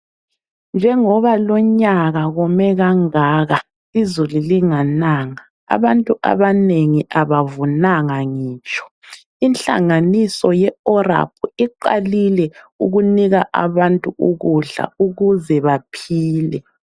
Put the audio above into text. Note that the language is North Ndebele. Njengoba lonyaka kome kangaka, izulu lingananga abantu abanengi abavunanga ngitsho. Inhlanganiso ye ORAP iqalile ukunika abantu ukudla ukuze baphile.